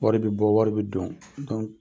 Wari bɛ bɔ, wari bɛ don